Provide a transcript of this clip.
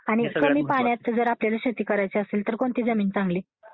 आणि कमी पाण्याची जर आपल्याला शेती करायची असेल तर कोणती जमीन चांगली असते?